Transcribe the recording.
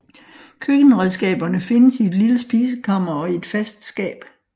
Køkkenredskaberne findes i et lille spisekammer og i et fast skab